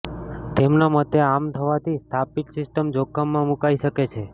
તેમના મતે આમ થવાથી સ્થાપિત સિસ્ટમ જોખમમાં મૂકાઈ શકે છે